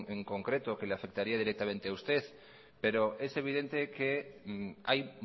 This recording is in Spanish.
en concreto que le afectaría directamente a usted pero es evidente que hay